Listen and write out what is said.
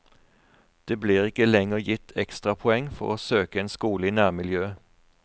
Det blir ikke lenger gitt ekstrapoeng for å søke en skole i nærmiljøet.